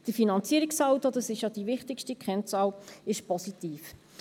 Der Finanzierungssaldo – das ist ja die wichtigste Kennzahl – ist positiv.